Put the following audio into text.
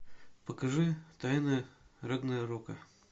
покажи тайна рагнарока